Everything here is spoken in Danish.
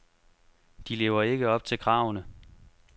De lever ikke op til kravene.